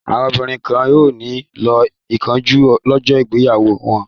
Àwọn obìnrin kan ò ní lo ìkunjú lọ́jọ́ ìgbéyàwó wọn.